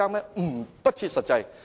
這是不設實際的。